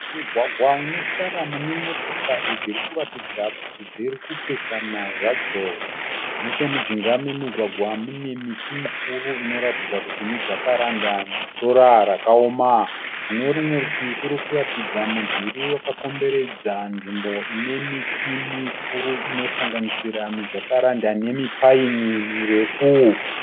Mugwagwa une tara mune motokari dziri kuratidza kuti dziri kupesana zvadzo. Nechomujinga memugwagwa mune miti mikuru inoratidza kuti miJacaranda nesora rakaoma. Kune rumwe rutivi kuri kuratidza mudhuri wakakomberedza nzvimbo ine miti mikuru inosanganisira miJacaranda nemiPaini mirefu.